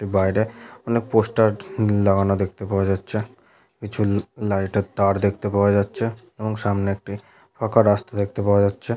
বাইরে অনেক পোস্টার লাগানো দেখতে পাওয়া যাচ্ছে কিছু লাইটের তার দেখতে পাওয়া যাচ্ছে এবং সামনে একটি ফাঁকা রাস্তা দেখতে পাওয়া যাচ্ছে--